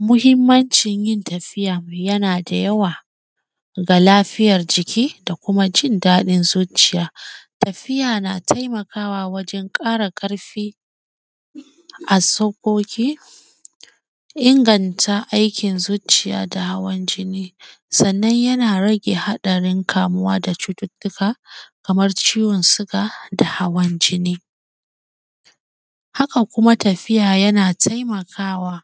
Muhimmancin yin tafiya, yana da yawa ga lafiyar jiki da kuma jin daɗin zucciya. Tafiya na taimakawa wajen ƙara ƙarfi a sauƙoƙi inganta aikin zucciya da hawan jinni. Sannan, yana rage haɗarin kamuwa da cututtika kamar ciwon suga da hawan jini. Haka Kuma, tafiya yana taimakawa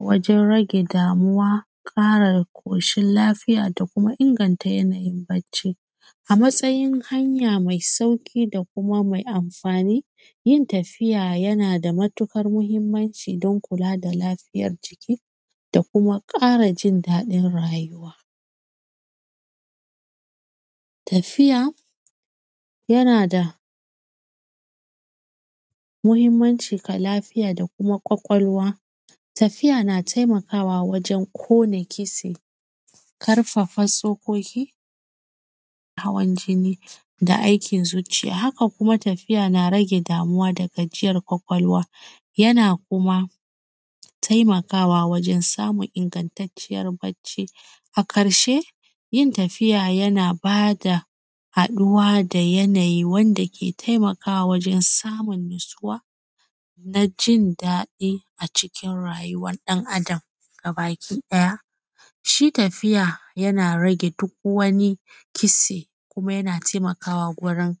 wajen rage damuwa, ƙara ƙoshin lafiya da kuma inganta yanayin bacci. A matsayin hanya mai sauƙi da kuma mai anfani, yin tafiya yana da matuƙar mahimanci dan kula da lafiyar jiki da kuma ƙara jin daɗin rayuwa. Tafiya, yana da muhimmanci ga lafiya da kuma ƙwaƙwalwa. Tafiya na taimakawa wajen ƙona kise, karfafa tsokoki, hawan jini da aikin zuciya. Kaka kuma, tafiya na rage damuwa da gajiyar kwakwalwa, yana kuma taimakawa wajen samun ingantacciyar bacci. A karshe, yin tafiya yana ba da haɗuwa da yanayi wanda ke taimakawa wajen samun nasuwa na jin daɗi a cikin rayuwan ɗan Adam gabakiɗaya, shi tafiya yana rage duk wani kise kuma yana temakawa gurin.